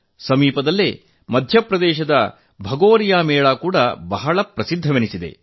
ಸಮೀಪದಲ್ಲೇ ಮಧ್ಯಪ್ರದೇಶದ ಭಗೋರಿಯಾ ಮೇಳ ಕೂಡಾ ಹೆಸರುವಾಸಿಯಾಗಿದೆ